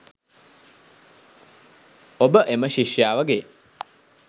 ඔබ එම ශිෂ්‍යාවගේ